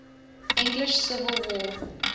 english civil war